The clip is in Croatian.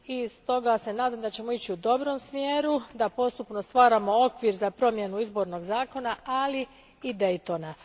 Stoga se nadam da ćemo ići u dobrom smjeru, da postupno stvaramo okvir za promjenu izbornog zakona, ali i Daytona.